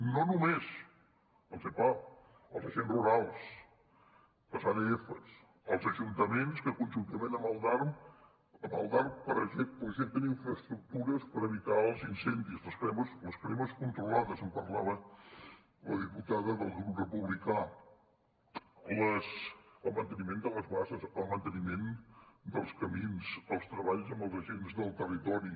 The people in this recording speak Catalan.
no només els epaf els agents rurals les adfs els ajuntaments que conjuntament amb el darp projecten infraestructures per evitar els incendis les cremes controlades en parlava la diputada del grup republicà el manteniment de les basses el manteniment dels camins els treballs amb els agents del territori